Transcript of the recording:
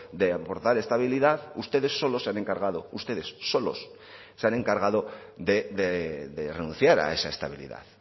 de aportar estabilidad ustedes solo se han encargado ustedes solos se han encargado de renunciar a esa estabilidad